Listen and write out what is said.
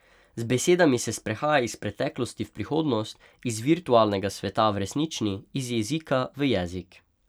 Z besedami se sprehaja iz preteklosti v prihodnost, iz virtualnega sveta v resnični, iz jezika v jezik.